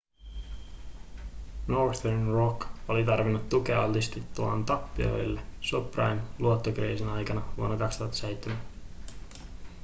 northern rock oli tarvinnut tukea altistuttuaan tappioille subprime-luottokriisin aikana vuonna 2007